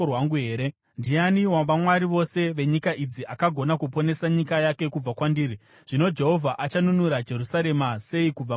Ndiani wavamwari vose venyika idzi akagona kuponesa nyika yake kubva kwandiri? Zvino Jehovha achanunura Jerusarema sei kubva muruoko rwangu?”